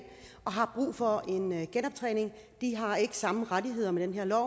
og har brug for en en genoptræning de har ikke samme rettigheder med den her lov